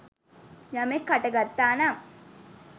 යමෙක් හටගත්තා නම්